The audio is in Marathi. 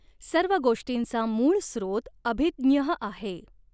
सर्व गोष्टींचा मूळ स्रोत अभिज्ञः आहे.